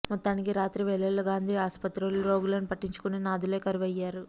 మొత్తానికి రాత్రి వేళల్లో గాంధీ ఆసుపత్రిలో రోగులను పట్టించుకునే నాథులే కరువయ్యారు